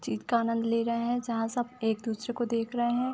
जीत का आनंद ले रहे हैं जहाँ सब एक दूसरे को देख रहे हैं।